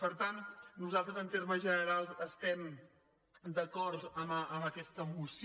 per tant nosaltres en termes generals estem d’acord amb aquesta moció